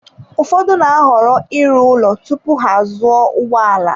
Ụfọdụ na-ahọrọ ịrụ ụlọ tupu ha azụọ ụgbọ ala.